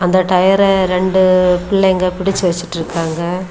அந்த டயர ரெண்டு பிள்ளைங்க பிடிச்சு வச்சுட்டிருக்காங்க.